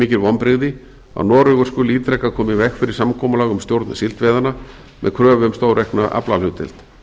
mikil vonbrigði að noregur skuli ítrekað koma í veg fyrir samkomulag um stjórn síldveiðanna með kröfu um stóraukna aflahlutdeild